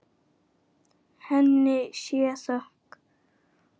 Henni sé þökk.